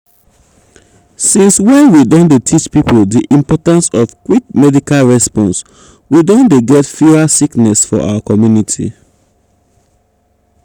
since when we don dey teach people di importance of quick medical response we don dey get fewer sickness for our community.